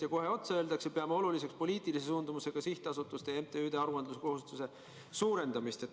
Ja kohe otsa öeldakse, et peetakse oluliseks poliitilise suundumusega sihtasutuste ja MTÜ-de aruandluskohustuse suurendamist.